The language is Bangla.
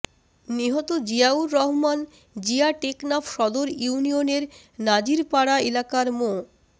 নিহত জিয়াউর রহমান জিয়া টেকনাফ সদর ইউনিয়নের নাজিরপাড়া এলাকার মো